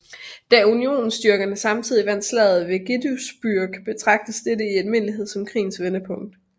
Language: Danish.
Da unionsstyrkerne samtidig vandt Slaget ved Gettysburg betragtes dette i almindelighed som krigens vendepunkt